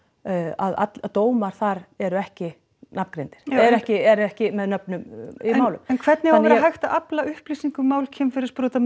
að dómar þar eru ekki nafngreindir eru ekki eru ekki með nöfnum í málum en hvernig á að vera hægt að afla upplýsinga um mál kynferðisbrotamanna